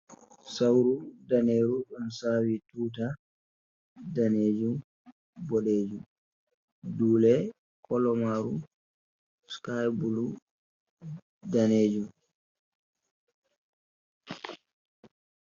Sawru daneru ɗo sawi tuta danejum, boɗejum dule kalamaru skai bulu danejum.